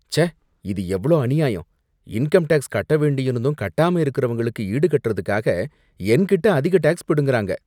ச்சே, இது எவ்ளோ அநியாயம். இன்கம் டேக்ஸ் கட்ட வேண்டியிருந்தும் கட்டாம இருக்கவங்களுக்கு ஈடுகட்டறதுக்காக என்கிட்ட அதிக டேக்ஸ் பிடுங்கறாங்க.